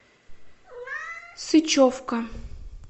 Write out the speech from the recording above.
сычевка